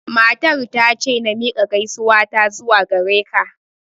Matar ta ce na miƙa gaisuwar ta zuwa gare ka